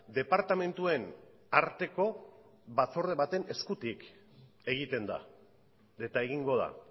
departamentuen arteko batzorde baten eskutik egiten da eta egingo da